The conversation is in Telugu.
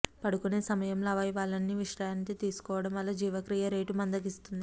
పడుకునే సమయంలో అవయవాలన్నీ విశ్రాంతి తీసుకోవడం వల్ల జీవక్రియ రేటు మందగిస్తుంది